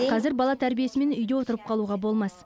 қазір бала тәрбиесімен үйде отырып қалуға болмас